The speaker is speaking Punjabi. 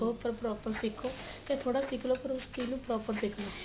ਸਿਖੋ ਪਰ proper ਸਿਖੋ ਤਾ ਥੋੜਾ ਸਿਖ ਲੋ ਪਰ ਉਸ ਚੀਜ ਨੂੰ proper ਸਿਖ ਲੋ